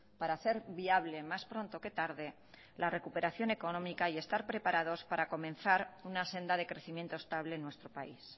para hacer viable más pronto que tarde la recuperación económica y estar preparados para comenzar una senda de crecimiento estable en nuestro país